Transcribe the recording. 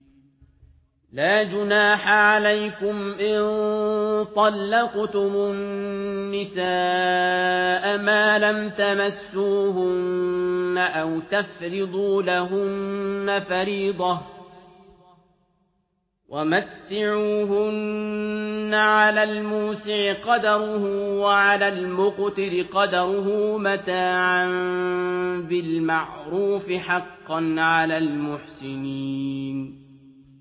لَّا جُنَاحَ عَلَيْكُمْ إِن طَلَّقْتُمُ النِّسَاءَ مَا لَمْ تَمَسُّوهُنَّ أَوْ تَفْرِضُوا لَهُنَّ فَرِيضَةً ۚ وَمَتِّعُوهُنَّ عَلَى الْمُوسِعِ قَدَرُهُ وَعَلَى الْمُقْتِرِ قَدَرُهُ مَتَاعًا بِالْمَعْرُوفِ ۖ حَقًّا عَلَى الْمُحْسِنِينَ